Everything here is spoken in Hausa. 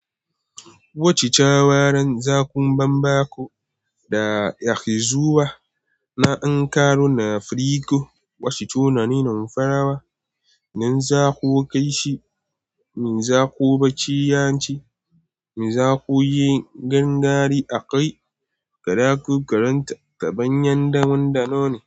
Wacce cawarren zaku banba ku da yakizuwa na Ankara na Afirika, wacce tunanin farawa, nan zaku kai shi, me zaku baci yanci, me zaku yi gangari a kai, kaɗa ku karanta ta bayan damun da nono.